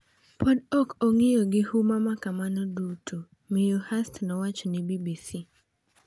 “Pod ok ong’iyo gi huma ma kamano duto,” Miyo Hirst nowacho ne BBC.